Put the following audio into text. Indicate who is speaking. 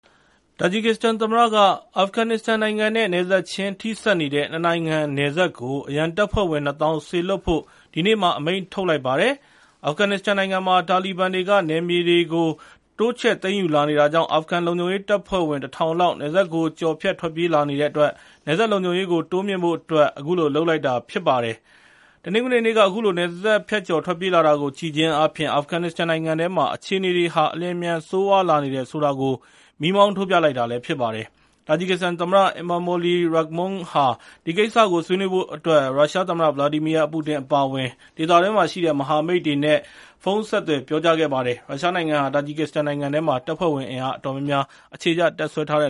Speaker 1: တာဂျစ်ကစ္စတန်သမ္မတက အာဖဂန်နစ္စတန်နိုင်ငံနဲ့ နယ်စပ်ချင်း ထိစပ်နေတဲ့ ၂ နိုင်ငံ နယ်စပ်ကို အရန်တပ်ဖွဲ့ဝင် ၂၀,၀၀၀ စေလွှတ်ဖို့ ဒီနေ့ အမိန့်ထုတ်လိုက်ပါတယ်။ အာဖဂန်နစ္စတန်နိုင်ငံမှာ တာလီဘန်တွေက နယ်မြေတွေကို တိုးချဲ့သိမ်းယူလာနေတာကြောင့် အာဖဂန်လုံခြုံရေးတပ်ဖွဲ့ဝင် ၁,၀၀၀ လောက် နယ်စပ်ကိုကျော်ဖြတ် ထွက်ပြေးလာနေတဲ့အတွက် နယ်စပ်လုံခြုံရေးကို တိုးမြှင့်ဖို့အတွက် အခုလိုလုပ်လိုက်တာ ဖြစ်ပါတယ်။ တနင်္ဂနွေနေ့က အခုလို နယ်စပ်ကို ဖြတ်ကျော်ထွက်ပြေးလာတာကို ကြည့်ခြင်းအားဖြင့် အာဖဂန်နစ္စတန်နိုင်ငံထဲမှာ အခြေအနေတွေဟာ အလျှင်အမြန် ဆိုးရွားလာနေတယ် ဆိုတာကို မီးမောင်းထိုးပြလိုက်တာ ဖြစ်ပါတယ်။ တာဂျစ်ကစ္စတန်သမ္မတ Emomali Rakhmon ဟာ ဒီကိစ္စကို ဆွေးနွေးဖို့အတွက် ရုရှားသမ္မတ Vladimir Putin အပါအဝင် ဒေသတွင်းမှာရှိတဲ့ မဟာမိတ်တွေကို ဖုန်းနဲ့ဆက်သွယ် ပြောကြားခဲ့ပါတယ်။ ရုရှားနိုင်ငံဟာ တာဂျစ်ကစ္စတန်နိုင်ငံထဲမှာ တပ်ဖွဲ့ဝင်အင်အား အတော်များများ အ
Speaker 2: ခြေချ တပ်စွဲထားတ